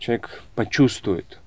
человек почувствует